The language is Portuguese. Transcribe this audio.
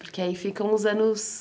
Porque aí ficam os anos...